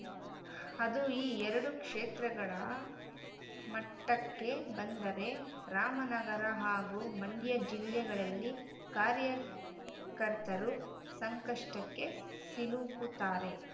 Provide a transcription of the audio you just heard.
ಅದು ಈ ಎರಡು ಕ್ಷೇತ್ರಗಳ ಮಟ್ಟಕ್ಕೆ ಬಂದರೆ ರಾಮನಗರ ಹಾಗೂ ಮಂಡ್ಯ ಜಿಲ್ಲೆಗಳಲ್ಲಿ ಕಾರ್ಯಕರ್ತರು ಸಂಕಷ್ಟಕ್ಕೆ ಸಿಲುಕುತ್ತಾರೆ